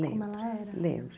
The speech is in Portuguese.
Lembro, lembro.